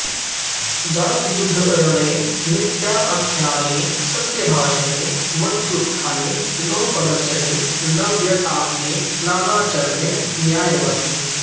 जात्युद्धरणे नीत्याख्याने सत्यभाषणे मत्युत्थाने नवपदरचने नव्यतापने नानाचरणे न्यायवर्तने